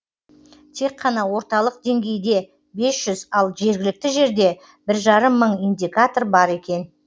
тек қана орталық деңгейде бес жүз ал жергілікті жерде бір жарым мың индикатор бар екен